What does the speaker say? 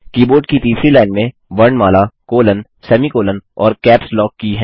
keyboard की तीसरी line में वर्णमाला कोलोन सेमीकोलों और कैप्स लॉक की हैं